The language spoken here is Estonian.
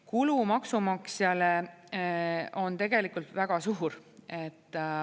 Kulu maksumaksjale on tegelikult väga suur.